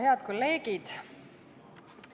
Head kolleegid!